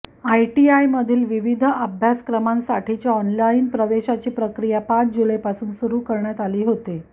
आयटीआयमधील विविध अभ्यासक्रमांसाठीच्या ऑनलाइन प्रवेशाची प्रक्रिया पाच जुलैपासून सुरू करण्यात आली होती